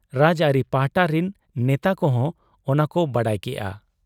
ᱨᱟᱡᱽ ᱟᱹᱨᱤ ᱯᱟᱦᱴᱟ ᱨᱤᱱ ᱱᱮᱛᱟ ᱠᱚᱦᱚᱸ ᱚᱱᱟᱠᱚ ᱵᱟᱰᱟᱭ ᱠᱮᱜ ᱟ ᱾